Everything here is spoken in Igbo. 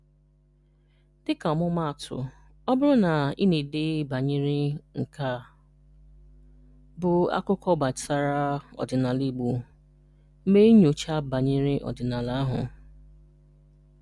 Dịka ọmụmaatụ: Ọ bụrụ na ị na-ede banyere “nke a bụ akụkọ gbasara ọdịnala Igbo,” mee nnyocha banyere ọdịnala ahụ.